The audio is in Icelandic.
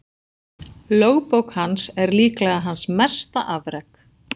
Lögbók hans er líklega hans mesta afrek.